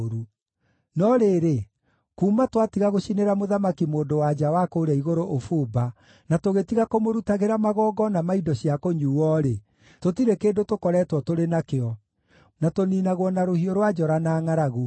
No rĩrĩ, kuuma twatiga gũcinĩra Mũthamaki-Mũndũ-wa-nja wa kũũrĩa Igũrũ ũbumba, na tũgĩtiga kũmũrutagĩra magongona ma indo cia kũnyuuo-rĩ, tũtirĩ kĩndũ tũkoretwo tũrĩ nakĩo, na tũniinagwo na rũhiũ rwa njora na ngʼaragu.”